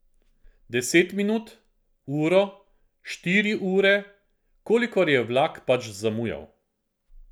Deset minut, uro, štiri ure, kolikor je vlak pač zamujal.